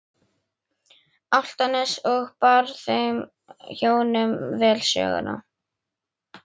Álftanes og bar þeim hjónum vel söguna.